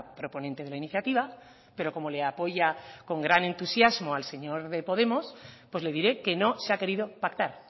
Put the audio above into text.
proponente de la iniciativa pero como le apoya con gran entusiasmo al señor de podemos pues le diré que no se ha querido pactar